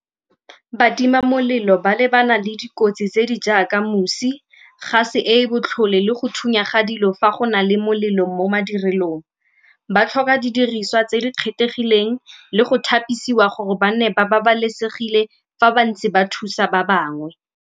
Batimamolelo ba lebana le dikotsi tse di jaaka mosi, gase e e botlhole le go thunya ga dilo fa go na le molelo mo madirelong. Ba tlhoka didiriswa tse di kgethegileng le go tlhapisiwa gore ba nne ba babalesegile fa ba ntse ba thusa ba bangwe.